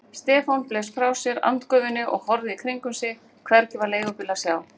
Stefán blés frá sér andgufunni og horfði í kringum sig, hvergi var leigubíl að sjá.